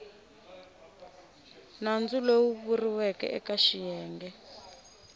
nandzu lowu vuriweke eke xiyenge